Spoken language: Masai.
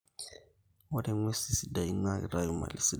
ore nguesin sidai na kitayu mali sidain